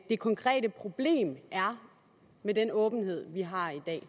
det konkrete problem med den åbenhed vi har i dag